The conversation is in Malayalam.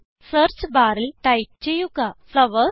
സെർച്ച് ബാറിൽ ടൈപ്പ് ചെയ്യുക ഫ്ലവർസ്